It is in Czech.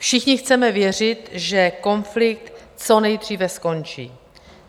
Všichni chceme věřit, že konflikt co nejdříve skončí.